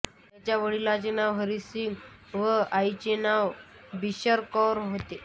त्यांच्या वडिलांचे नाव हरीसिंग व आईचे नाव बिशनकौर होते